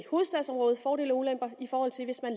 hovedstadsområdet fordele og ulemper i forhold til hvis man